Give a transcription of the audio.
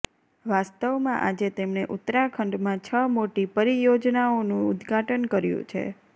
વાસ્તવમાં આજે તેમણે ઉત્તરાખંડમાં છ મોટી પરિયોજનાઓનુ ઉદ્ઘાટન કર્યુ છે